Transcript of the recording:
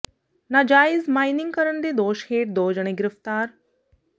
ਨਾਜਾਇਜ਼ ਮਾਈਨਿੰਗ ਕਰਨ ਦੇ ਦੋਸ਼ ਹੇਠ ਦੋ ਜਣੇ ਗ੍ਰਿਫ਼ਤਾਰ